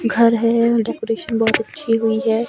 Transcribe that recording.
घर है डेकोरेशन बहुत अच्छी हुई है।